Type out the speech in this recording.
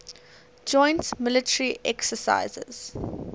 joint military exercises